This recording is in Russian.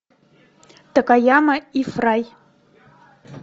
такаяма и фрай